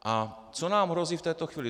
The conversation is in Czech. A co nám hrozí v této chvíli?